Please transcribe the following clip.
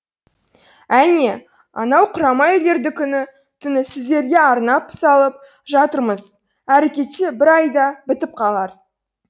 әне анау құрама үйлерді күні түні сіздерге арнап салып жатырмыз әрі кетсе бір айда бітіп қалар